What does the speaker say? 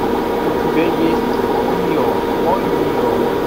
у тебя есть мио мой мио